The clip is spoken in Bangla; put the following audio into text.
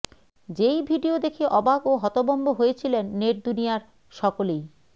যেই ভিডিও দেখে অবাক ও হতভম্ব হয়েছিলেন নেট দুনিয়ার সকলেই